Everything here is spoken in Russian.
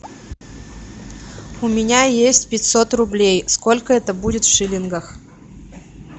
у меня есть пятьсот рублей сколько это будет в шиллингах